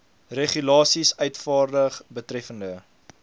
regulasies uitvaardig betreffende